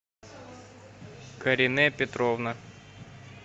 карине петровна